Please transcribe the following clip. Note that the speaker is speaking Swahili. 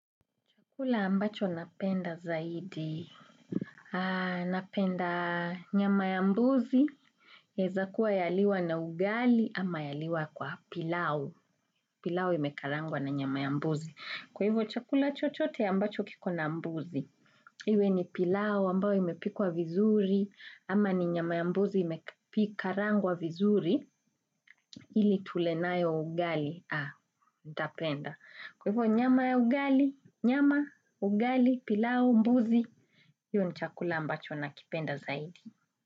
Kula ambacho napenda zaidi, napenda nyama ya mbuzi, heza kuwa yaliwa na ugali ama yaliwa kwa pilau, pilau imekarangwa na nyama ya mbuzi. Kwa hivyo chakula chochote ambacho kiko na mbuzi, iwe ni pilau ambao imepikwa vizuri ama ni nyama ya mbuzi imekarangwa vizuri ili tulenayo ugali, ha, nitapenda. Kwa hivyo nyama ya ugali, nyama, ugali, pilau, mbuzi, hiyo ni chakula ambacho na kipenda zaidi.